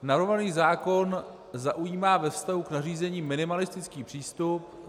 Navrhovaný zákon zaujímá ve vztahu k nařízení minimalistický přístup.